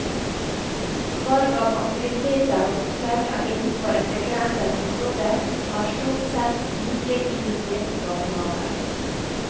Valg av aktiviteter og opplegg er innenfor et begrenset område og er stort sett like i de fleste barnehager.